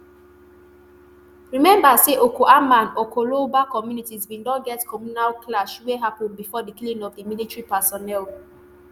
remember say okuama and okoloba communities bin don get communal clash wey happun bifor di killing of di military personnel.